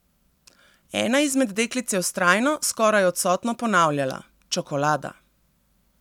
Ena izmed deklic je vztrajno, skoraj odsotno ponavljala: "Čokolada.